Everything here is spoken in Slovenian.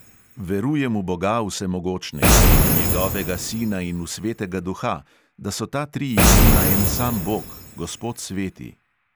"Verujem v boga vsemogočnega in v njegovega sina in v svetega duha, da so ta tri imena en sam bog, gospod sveti."